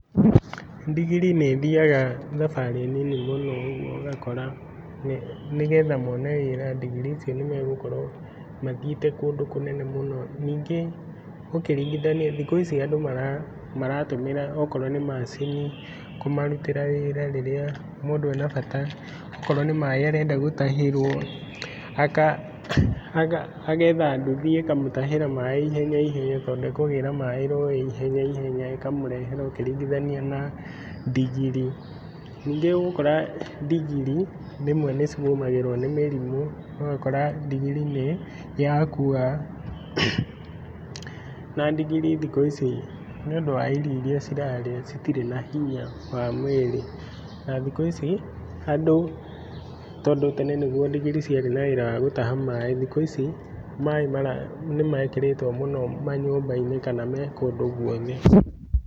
Ndigiri nĩ ĩthiaga thabarĩ nini mũno ũguo ũgakora, nĩgetha mone wĩra ndigiri ici nĩ megũkorwo mathiĩte kũndũ kũnene mũno. Ningĩ ũkĩringithania thikũ ici andũ maratũmĩra okorwo nĩ macini kũmarutĩra wĩra rĩrĩa mũndũ e na bata, okorwo nĩ maĩ arenda gũtahĩrwo, agetha nduthi ĩkamũtahĩra maĩ ihenya ihenya, tondũ ĩkũgĩra maĩ rũĩ ihenya ihenya ĩkamũrehera ũkĩringithania na ndigiri. Ningĩ ũgũkora ndigiri rĩmwe nĩ cigũmagĩrwo nĩ mĩrimũ, ũgakora ndigiri nĩ yakua, na ndigiri thikũ ici nĩ ũndũ wa irio iria cirarĩa itirĩ na hinya wa mwĩrĩ, na thikũ ici andũ tondũ tene nĩguo ndigiri ciarĩ na wĩra wa gũtaha maĩ, thikũ ici maĩ nĩ mekĩrĩtwo mũno manyũmba-inĩ kana me kũndũ guothe.